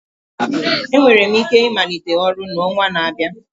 Enwere m ike ịmalite ọrụ n'ọnwa na-abịa